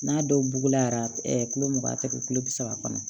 N'a dɔw bugula ɛ kulo mugan tɛ kɛ kulo bi saba kɔnɔ